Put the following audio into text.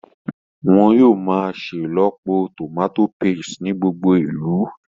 Wọ́n yóò máa ṣelọpọ tòmátò paste ní gbogbo ìlú